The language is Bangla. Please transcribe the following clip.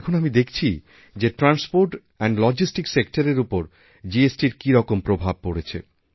এখন আমি দেখছি যে ট্রান্সপোর্ট্যান্ড লজিস্টিক সেক্টর এর ওপর জিএসটি র কীরকম প্রভাব পড়েছে